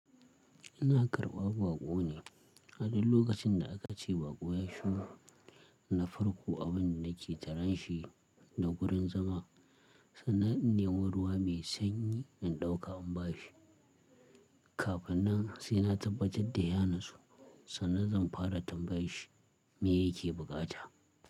Ina karɓa baƙo ne, a duk lokacin da aka ce baƙo ya shigo, na farko abin da nake taran shi da wurin zama, sannan in nemi ruwa mai sanyi in ɗauka in ba shi. Kafin nan sai na tabbatar da ya natsu sannan zan fara tambayar shi me yake buƙata.